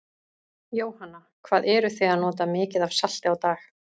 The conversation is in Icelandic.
Jóhanna: Hvað eruð þið að nota mikið af salti á dag?